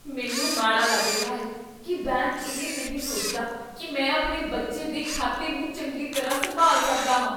ਮੈਨੂੰ ਮਾੜਾ ਲੱਗ ਰਿਹਾ ਹੈ ਕੀ ਬੈਂਕ ਇਹ ਨਹੀਂ ਸੋਚਦਾ ਕੀ ਮੈਂ ਆਪਣੇ ਬੱਚੇ ਦੇ ਖਾਤੇ ਨੂੰ ਚੰਗੀ ਤਰ੍ਹਾਂ ਸੰਭਾਲ ਸਕਦਾ ਹਾਂ।